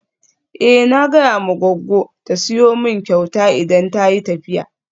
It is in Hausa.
Eh na gaya ma goggo ta siyo min kyauta idan tayi tafiya.